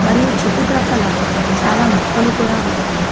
మరియు చుట్టుప్రక్కల చాలా మొక్కలు కూడా ఉన్నాయి.